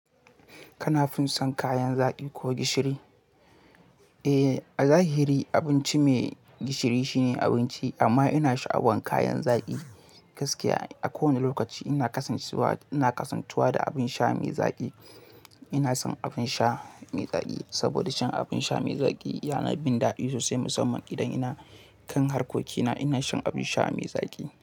Kana fin son kayan zaƙi ko gishiri? Eh, a zahiri abinci mai gishiri shine abinci, amma ina sha'awan kayan zaƙi gaskiya. A kowane lokaci ina kasantuwa, ina kasantuwa da abin sha mai zaƙi. Ina son abin sha mai zaƙi saboda shan abin sha mai zaƙi yana bin daɗi sosai musamman idan ina kan harkokina ina shan abin sha mai zaƙi.